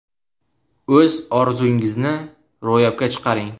O‘z orzungizni ro‘yobga chiqaring!